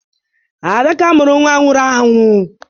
Adaka mụrụ nwa nwụrụ anwụ.